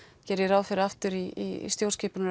geri ég ráð fyrir aftur í stjórnskipunar